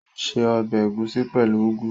Ó ṣe ọbẹ̀ ẹ̀gúsí pẹ̀lú úgú